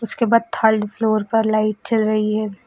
उसके बाद third floor पर लाइट जल रही है।